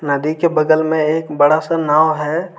नदी के बगल में एक बड़ा सा नाव है।